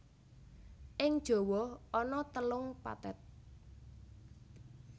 Ing Jawa ana telung pathet